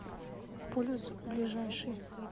полюс ближайший